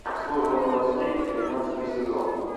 служба новостей тринадцатый сезон